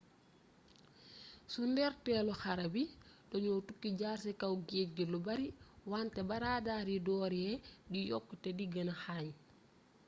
ci ndorteelu xare bi dañoo tukki jaar ci kaw géeej gi lu bare wante ba radar yi dooree di yokku te di gëna xarañ